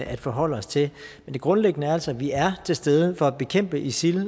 at forholde os til men det grundlæggende er altså at vi er til stede for at bekæmpe isil